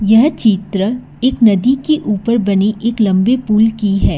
यह चित्र एक नदी के ऊपर बनी एक लंबे पुल की है।